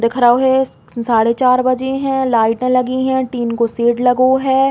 देख रहो है सा साढ़े चार बजे हैं। लाइटे लगी हैं। टीन को शेड़ लगो है।